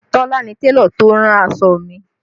Tola ni Télọ̀ tó rán aṣọ mi